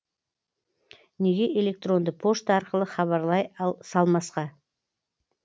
неге электронды пошта арқылы хабарлай салмасқа